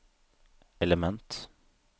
element